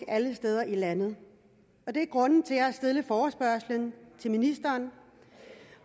alle steder i landet det er grunden til har stillet forespørgslen til ministeren